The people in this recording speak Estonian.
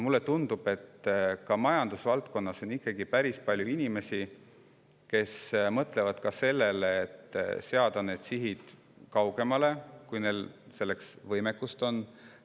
Mulle tundub, et majandusvaldkonnas on päris palju inimesi, kes mõtlevad ka sellele, et seada sihid, kui neil selleks võimekust on.